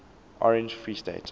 orange free state